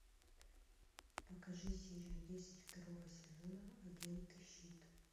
покажи серию десять второго сезона агенты щит